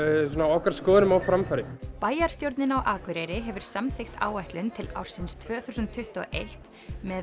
okkar skoðunum á framfæri bæjarstjórnin á Akureyri hefur samþykkt áætlun til ársins tvö þúsund tuttugu og eitt með